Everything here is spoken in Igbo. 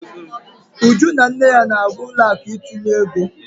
Uju na nne ya na-aga ụlọ akụ ịtụnye ego.